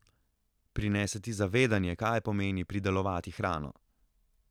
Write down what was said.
Prinese ti zavedanje, kaj pomeni pridelovati hrano.